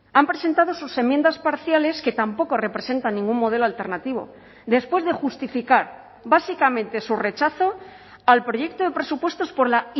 han presentado sus enmiendas parciales que tampoco representan ningún modelo alternativo después de justificar básicamente su rechazo al proyecto de presupuestos por la